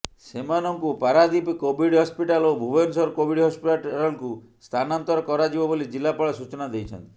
ସେମାନଙ୍କୁ Paradip Covid hospital ଓ Bhubaneswar Covid ହସ୍ପିଟାଲକୁ ସ୍ଥାନାନ୍ତର କରାଯିବ ବୋଲି ଜିଲ୍ଲାପାଳ ସୂଚନା ଦେଇଛନ୍ତି